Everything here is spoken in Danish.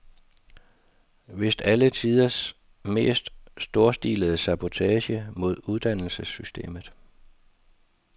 Vist alle tiders mest storstilede sabotage mod uddannelsessystemet.